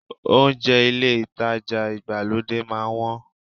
Ohunjẹ́ ilé ìtajà ìgbàlódé máa ń wọ́n